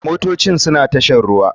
Motocin suna tashar ruwa.